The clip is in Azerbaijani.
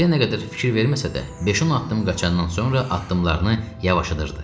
Ağrıya nə qədər fikir verməsə də, beş-on addım qaçandan sonra addımlarını yavaşadırdı.